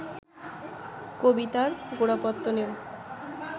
কবিতার গোড়াপত্তনেও